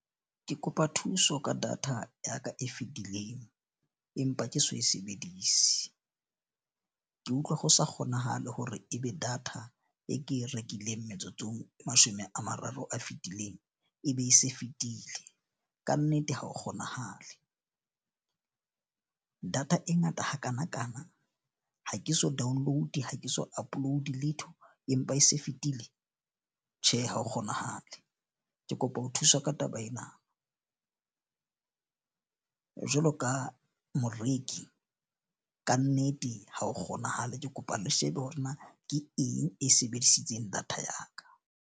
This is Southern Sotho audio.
Ke kopa thuso ka data ya ka e fetileng, empa ke so e sebedise. Ke utlwa ho sa kgonahale hore ebe data e ke rekileng metsotsong e mashome a mararo a fitileng e be e se e fetile. Kannete, ha ho kgonahale data e ngata hakanakana, ha ke so download-e ha ke so upload-e letho, empa e se e fetile. Tjhe, ha ho kgonahale. Ke kopa ho thuswa ka taba ena jwalo ka moreki kannete ha ho kgonahale. Ke kopa le shebe hore na ke eng e sebedisitseng data ya ka.